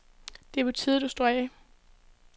Det er på tide, du står af.